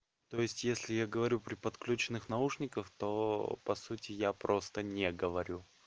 то есть если я говорю при подключённых наушников то по сути я просто не говорю